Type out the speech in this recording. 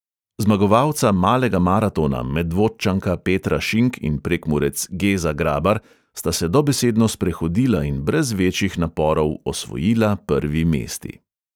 Zmagovalca malega maratona medvodčanka petra šink in prekmurec geza grabar sta se dobesedno sprehodila in brez večjih naporov osvojila prvi mesti.